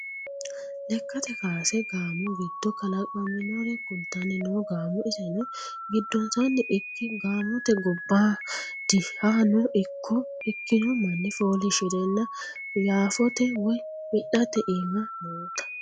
Lekkate kaase gaamo giddo kalaqaminore kultanni no gaamo iseno giddonsanni ikki gaamote gobbadihano ikko ikkino manni foolishirenna yaafote woyi wi'late iima nootta.